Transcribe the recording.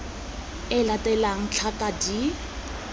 e e latelang tlhaka d